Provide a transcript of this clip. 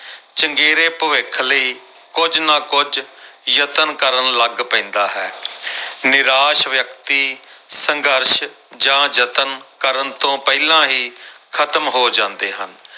ਚੰਗੇਰੇ ਭਵਿੱਖ ਲਈ ਕੁੱਝ ਨਾ ਕੁੱਝ ਯਤਨ ਕਰਨ ਲੱਗ ਪੈਂਦਾ ਹੈ ਨਿਰਾਸ਼ ਵਿਅਕਤੀ ਸੰਘਰਸ਼ ਜਾਂ ਯਤਨ ਕਰਨ ਤੋਂ ਪਹਿਲਾਂ ਹੀ ਖ਼ਤਮ ਹੋ ਜਾਂਦੇ ਹਨ।